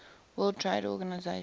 world trade organization